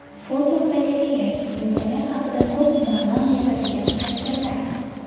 Fotogalereya: Insoniyat haqida ko‘p ma’no anglatadigan haykallar.